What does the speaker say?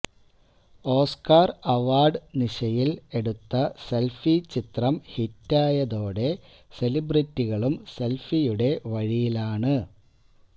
Oscar award നിശയില് എടുത്ത selfie ചിത്രം ഹിറ്റായതോടെ സെലിബ്രിറ്റികളും സെല്ഫിയുടെ വഴിയിലാണ്